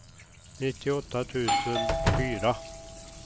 nittioåtta tusen fyra